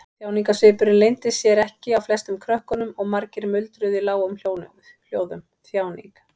Þjáningarsvipurinn leyndi sér ekki á flestum krökkunum og margir muldruðu í lágum hljóðum: Þjáning.